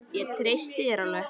Ég treysti þér alveg!